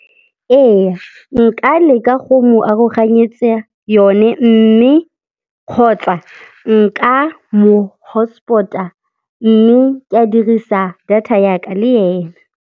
Ee, nka leka go mo aroganyetsa yone, mme kgotsa nka mo hotspot-a mme ka dirisa data ya ka le ena.